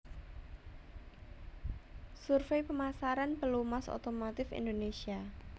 Survei Pemasaran Pelumas Otomotif Indonésia